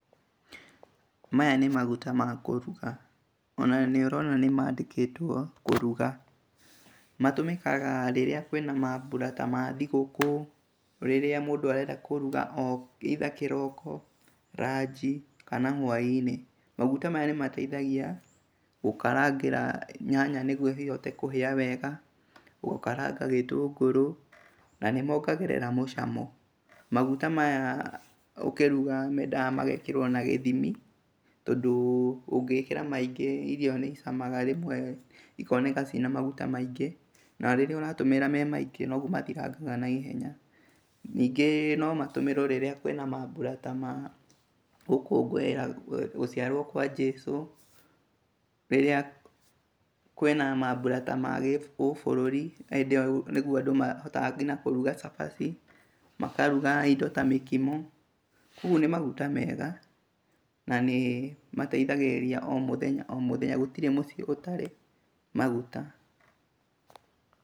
Maya nĩ maguta ma kũruga, ona nĩũrona nĩmandĩkĩtwo kũruga, matũmĩkaga ta rĩrĩa kwĩna mambura ta ma thigũkũ, rĩrĩa mũndũ arenda kũruga either kĩroko, ranji kana hwainĩ, maguta maya nĩmateithagia gũkarangĩra nyanya nĩgũo ihote kũhĩa wega, gũkaranga gĩtũngũrũ na nĩmongagĩrĩria mũcamo, maguta maya ũkĩruga mendaga magekĩrwo na gĩthimi tondũ, ũngĩgĩkĩra maingĩ mũno irio nĩicamaga, na rĩrĩa ũratũmĩra me maingĩ, noguo mathirangaga naihenya, ningĩ nomatũmĩrwo rĩrĩa kwĩna mabura ta gũkũngũĩra gũciaro kwa nĩsũ, rĩrĩa kwĩna mabura ta ma ũbũrũri , hĩndĩ ĩyo nĩguoandũ mahotaga kũruga nginya cabaci, makaruga indo ta mĩkimo, koguo nĩ maguta mega na nĩmateithgĩrĩria o mũthenya o mũthenya, gũtirĩ mũciĩ ũtararĩ maguta,